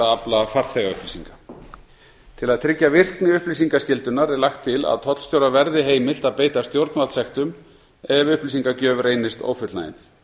að afla farþegaupplýsinga til að tryggja virkni upplýsingaskyldunnar er lagt til að tollstjóra verði heimilt að beita stjórnvaldssektum ef upplýsingagjöf reynist ófullnægjandi